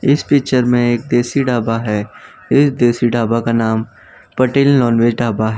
इस पिक्चर में एक देशी ढाबा है इस देशी ढाबा का नाम पटेल नॉनवेज ढाबा है।